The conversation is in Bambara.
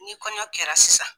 Ni kɔɲɔn kɛra sisan.